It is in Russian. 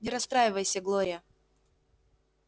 не расстраивайся глория